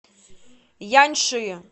яньши